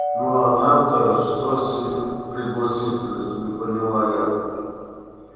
ну а нам-то что с их пригласительных не поняла я